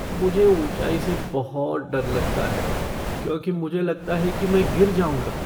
मुझे ऊँचाई से बहुत डर लगता है क्योंकि मुझे लगता है कि मैं गिर जाऊँगा।